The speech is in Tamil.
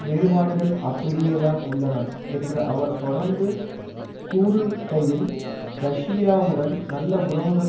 வேறுபாடுகள் அப்படியேதான் உள்ளன என்ற அவர் தொடர்ந்து கூறுகையில் ரஷ்யாவுடன் நல்ல உறவுகள்